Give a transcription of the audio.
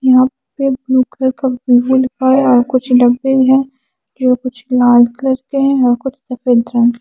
यहाँ पे blue colour का वीवो लिखा है और कुछ डब्बे है जो कुछ लाल कलर के हैं और कुछ सफेद रंग--